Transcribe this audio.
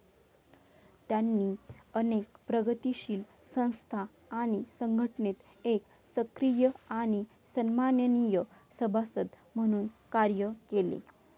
त्यांनी अनेक प्रगतिशील संस्था आणि संघटनेत एक सक्रिय आणि सन्माननीय सभासद म्हणून कार्य केले.